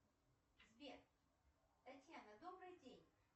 сбер татьяна добрый день